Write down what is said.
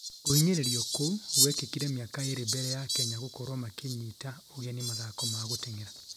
kuhinyirĩria kũu gwĩkĩkire mĩaka ĩrĩ mbere ya Kenya gũkorwo makĩnyita ũgeni mathako ma gũteng'era